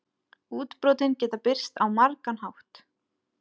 Útbrotin geta birst á margan hátt.